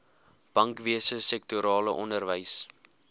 bankwese sektorale onderwys